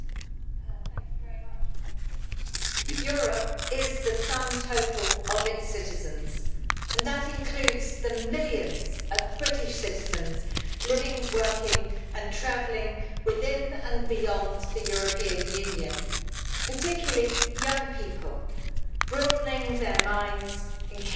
Mr President, Europe is the sum total of its citizens and that includes the millions of British citizens living, working and travelling within and beyond the European Union, particularly young people broadening their minds, encountering the other,